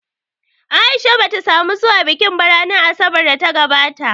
A’isha bata samu zuwa bikin ba ranar Asabar da ta gabata